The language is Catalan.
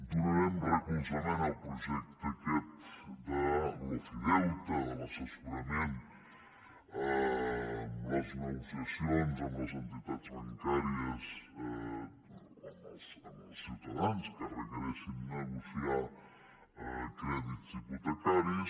donarem recolzament al projecte aquest de l’ofideute de l’assessorament en les negociacions amb les entitats bancàries als ciutadans que requereixin negociar crèdits hipotecaris